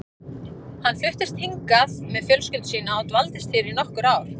Hann fluttist hingað með fjölskyldu sína og dvaldist hér í nokkur ár.